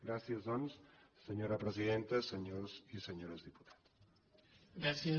gràcies doncs senyora presidenta senyors i senyores diputades